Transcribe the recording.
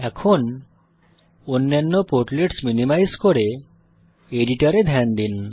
এখন অন্যান্য portlets minimise করে এডিটরে ধ্যান দিন